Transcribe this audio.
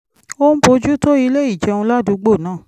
ó ń bójú tó ilé ìjẹun ládùúgbò náà